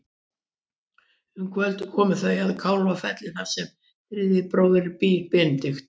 Um kvöldið koma þau að Kálfafelli þar sem þriðji bróðirinn býr, Benedikt.